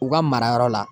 U ka marayɔrɔ la